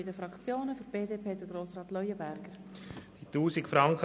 Die Fraktionen haben das Wort, zuerst Grossrat Leuenberger für die BDP.